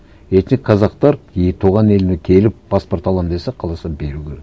этник қазақтар туған еліне келіп паспорт аламын десе қаласа беру керек